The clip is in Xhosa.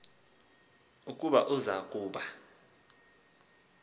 ukuba uza kuba